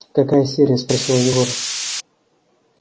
какая серия спросил егор